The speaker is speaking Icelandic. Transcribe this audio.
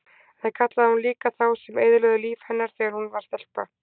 En það kallaði hún líka þá sem eyðilögðu líf hennar þegar hún var stelpa.